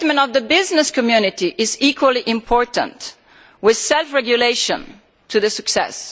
The commitment of the business community is equally important, with self regulation a key to success.